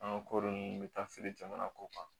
An ka kɔɔri ninnu bɛ taa feere jamana kɔ kan